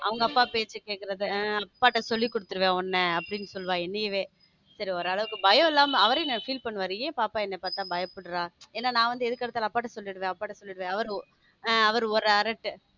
அவங்க அப்பா பேச்சு கேட்கிறது அப்பாட்ட சொல்லி கொடுத்துடுவேன் உன்ன அப்படின்னு சொல்லுவா இன்னையவே சரி ஒரு அளவுக்கு பயம் இல்லாம அவரே feel பண்ணுவாரு ஏன் பாப்பா என்ன பாத்தா பயப்படுறா ஏன்னா நான் வந்து எதுக்கடுத்து நான் அப்பாட்ட சொல்லிடுவேன் அப்பாட்ட சொல்லிடுவேன் அவரு ஒரு ஆரட்டு.